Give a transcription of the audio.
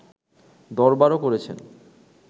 দরবারও করেছেন